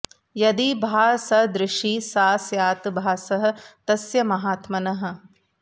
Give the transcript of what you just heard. यदि भाः सदृशी सा स्यात् भासः तस्य महात्मनः